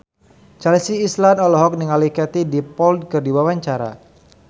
Chelsea Islan olohok ningali Katie Dippold keur diwawancara